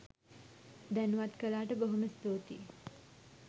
දෑනුවත් කලාට බොහොම ස්තුතියි.